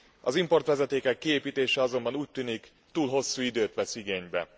Az importvezetékek kiépítése azonban úgy tűnik, túl hosszú időt vesz igénybe.